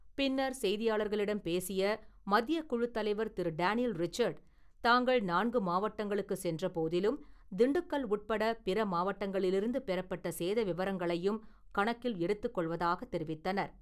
பின்னர் செய்தியாளர்களிடம் பேசிய மத்தியக்குழுத் தலைவர் திரு. டேனியல் ரிச்சர்டு, தாங்கள் நான்கு மாவட்டங்களுக்கு சென்ற போதிலும் திண்டுக்கல் உட்பட பிற மாவட்டங்களிலிருந்து பெறப்பட்ட சேத விவரங்களையும் கணக்கில் எடுத்துக்கொள்வதாகத் தெரிவித்தனர்.